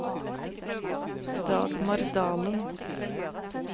Dagmar Dahlen